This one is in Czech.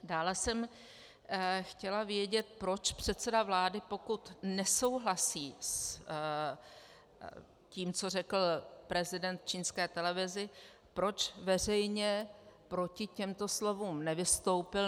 Dále jsem chtěla vědět, proč předseda vlády, pokud nesouhlasí s tím, co řekl prezident čínské televizi, proč veřejně proti těmto slovům nevystoupil.